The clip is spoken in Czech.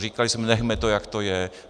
Říkali jsme: Nechme to, jak to je.